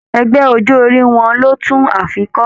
Ẹgbẹ ọjọ orí wọn lò tún ààfin kọ.